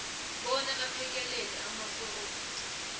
bona aphekelele amaforomu